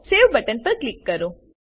save button પર click કરો